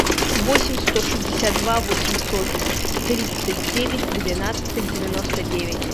восемь сто шестьдесят два восемьсот тридцать девять двенадцать девяносто девять